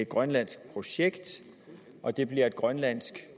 grønlandsk projekt og det bliver et grønlandsk